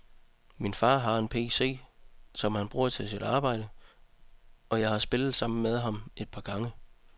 Min far har en pc, som han bruger til sit arbejde, og jeg har spillet sammen med ham et par gange.